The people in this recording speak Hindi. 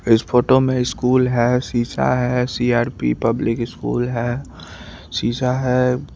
इस फोटो में स्कूल है सीसा है सी_आर_पी पब्लिक स्कूल है शीशा है।